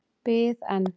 Bið en.